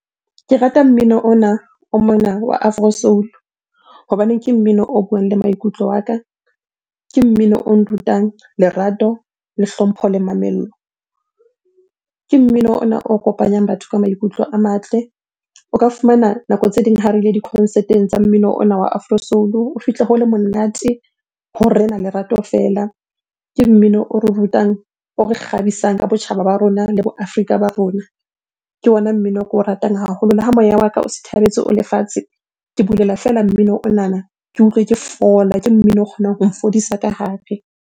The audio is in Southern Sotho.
Ke rata mmino ona o mona wa afro soul-u hobaneng ke mmino o buang le maikutlo a ka, ke mmino o nrutang lerato, le hlompho le mamello. Ke mmino ona o kopanyang batho ka maikutlo a matle. O ka fumana nako tse ding ha re ile di-concert-eng tsa mmino ona wa afro soul-u, o fihle ho le monate ho rena lerato feela. Ke mmino o re rutang, o re kgabisang ka botjhaba ba rona le bo Afrika ba rona, ke ona mmino o ke o ratang haholo. Le ha moya wa ka o sithabetse o le fatshe, ke bulela feela mmino onana ke utlwe ke fola. Ke mmino o kgonang ho nfodisa ka hare.